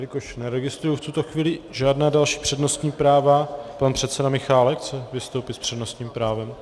Jelikož neregistruji v tuto chvíli žádná další přednostní práva - pan předseda Michálek chce vystoupit s přednostním právem.